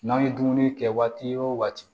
N'an ye dumuni kɛ waati wo waati